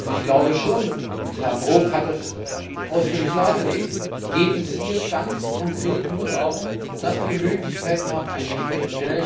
Ich glaube schon Herr Brok hat das ausführlich dargelegt dass es hier ganz konkret nur darum geht, dass wir Möglichkeiten haben, einzugreifen.